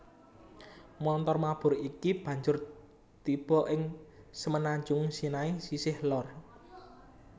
Montor mabur iki banjur tiba ing Semenanjung Sinai sisih lor